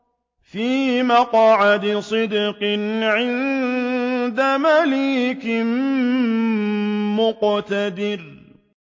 فِي مَقْعَدِ صِدْقٍ عِندَ مَلِيكٍ مُّقْتَدِرٍ